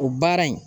O baara in